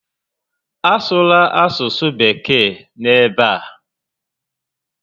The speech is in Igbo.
A sụla asụsụ Bekee n'ebe a!